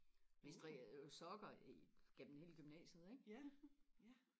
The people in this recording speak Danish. vi strikkede jo sokker gennem hele gymnasiet ikke